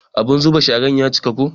Abun zuba sharan ya cika ko.